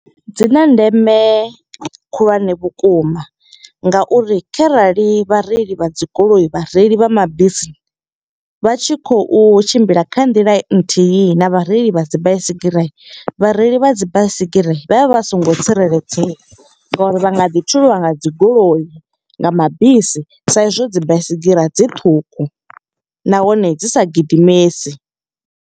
Dzi na ndeme khulwane vhukuma nga uri kharali vhareili vha dzi goloi, vhareili vha mabisi. Vha tshi khou tshimbila kha nḓila nthihi na vhareili vha dzi baisigira. Vhareili vha dzi baisigira vha vha vha songo tsireledzea nga uri vha nga ḓi thuliwa nga dzi goloi, nga mabisi. Sa i zwo dzi baisigira dzi ṱhukhu, nahone dzi sa gidimesi.